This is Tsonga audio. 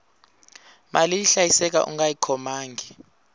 mali yi hlayiseka ungayi khomangi